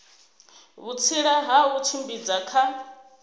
vhutsila ha u tshimbidza kha